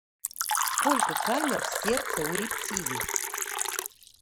сколько камер в сердце у рептилий